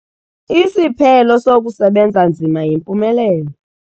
Isiphelo sokusebenza nzima yimpumelelo.